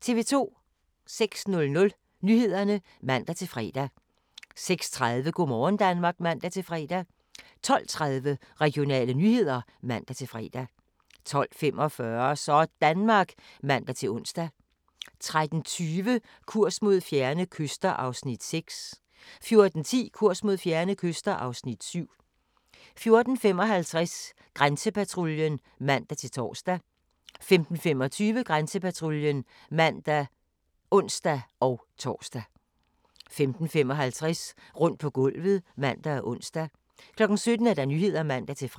06:00: Nyhederne (man-fre) 06:30: Go' morgen Danmark (man-fre) 12:30: Regionale nyheder (man-fre) 12:45: Sådanmark (man-ons) 13:20: Kurs mod fjerne kyster (Afs. 6) 14:10: Kurs mod fjerne kyster (Afs. 7) 14:55: Grænsepatruljen (man-tor) 15:25: Grænsepatruljen (man og ons-tor) 15:55: Rundt på gulvet (man og ons) 17:00: Nyhederne (man-fre)